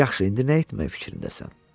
Yaxşı, indi nə etmək fikrindəsən?